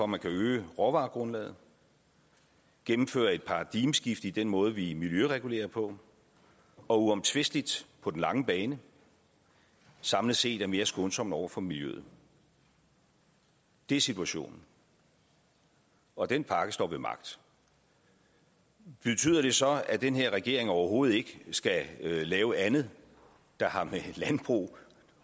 man kan øge råvaregrundlaget gennemfører et paradigmeskift i den måde vi miljøregulerer på og uomtvisteligt på den lange bane samlet set er mere skånsom over for miljøet det er situationen og den pakke står ved magt betyder det så at den her regering overhovedet ikke skal lave andet der har med landbrug